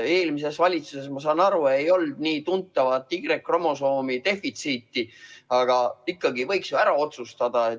Eelmises valitsuses, ma saan aru, ei olnud nii tuntavat Y-kromosoomi defitsiiti, aga ikkagi võiks ju ära otsustada.